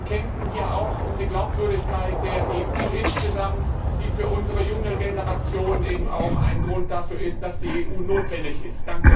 Wir kämpfen ja auch um die Glaubwürdigkeit der EU insgesamt, die für unsere junge Generation auch ein Argument dafür ist, dass die EU notwendig ist.